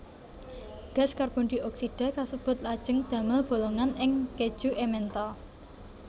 Gas karbondioksida kasebut lajeng damel bolongan ing kèju Emmental